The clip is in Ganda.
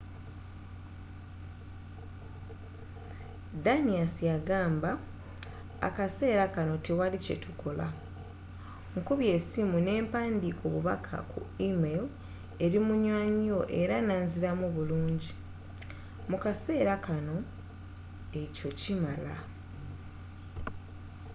danius yagamba akaseera kano tewali kye tukola. nkubye essimu n’empandiika obubaka ku email eri munywanyi we era nanziramu bulungi. mu kaseera kano ekyo kimala.